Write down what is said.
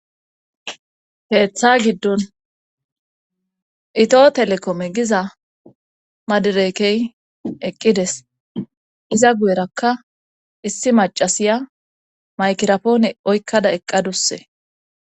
heeththa giddon itoo telekome giza maderekey eqqides iza guyerakka issi macasiya maykirapoone oykkada eqqadusse